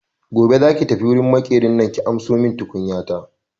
Gobe za ki tafi wurin Maƙerin nan ki ansomin tukunyata!